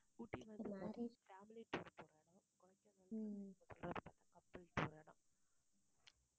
ஊட்டி வந்து family tour போற இடம் கொடைக்கானல் வந்து couples போற இடம்